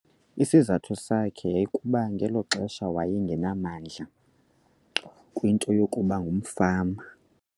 Isizathu sakhe yayikukuba ngelo xesha waye ngenamdla kwinto yokuba ngumfama.